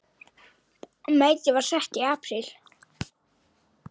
Metið var sett í apríl.